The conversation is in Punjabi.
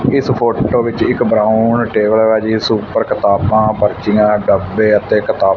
ਇਸ ਫੋਟੋ ਵਿੱਚ ਇੱਕ ਬਰਾਊਨ ਟੇਬਲ ਹੈਗਾ ਜਿਸ ਉੱਪਰ ਕਿਤਾਬਾਂ ਪਰਚੀਆਂ ਡੱਬੇ ਅਤੇ ਕਿਤਾਬ--